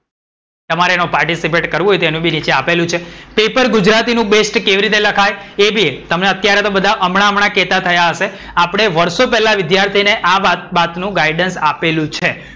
તમારે એમાં participate કરવું હોય તો એનું બી નીચે આપેલું છે. પેપર ગુજરાતી નું બેસ્ટ કેવી રીતે લખાય? એ બી તમને બધા તો હમણાં હમણાં કેતા થયા હશે. આપડે વર્ષો પેલા વિધ્યાર્થીને આ વાત નું guidance આપેલું છે.